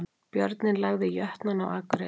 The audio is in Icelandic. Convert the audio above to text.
Björninn lagði Jötnana á Akureyri